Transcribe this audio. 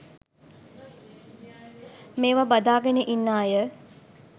මේවා බදාගෙන ඉන්න අය